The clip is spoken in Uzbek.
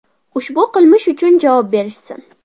Ushbu qilmish uchun javob berishsin!